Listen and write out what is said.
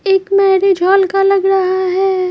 एक marriage hall का लग रहा है।